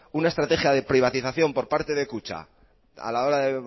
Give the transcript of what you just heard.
una estrategia de privatización por parte de kutxa a la hora de